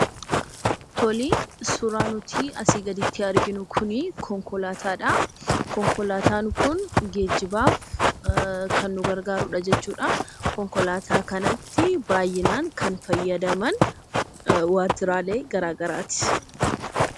Suuraan nuti asii gaditti arginu kunii, konkolaataa dhaa. Konkolaataan Kun geejibaaf kan nu gargaarudha jechuudhaa. Konkolaataa kanatti baayyinaan kan fayyadaman waajiraalee garaagaraati